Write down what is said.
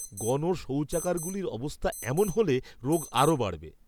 গণ শৌচাগারগুলির অবস্থা এমন হলে, রোগ আরও বাড়বে।